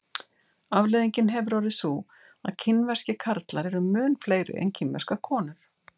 Afleiðingin hefur orðið sú að kínverskir karlar eru mun fleiri en kínverskar konur.